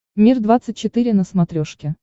мир двадцать четыре на смотрешке